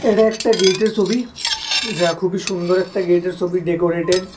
এডা একটা গেইটের ছবি যা খুবই সুন্দর একটা গেইটের ছবি ডেকোরেটেড ।